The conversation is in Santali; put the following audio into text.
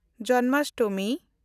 ᱡᱚᱱᱢᱟᱥᱴᱚᱢᱤ